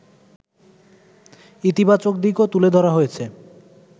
ইতিবাচক দিকও তুলে ধরা হয়েছে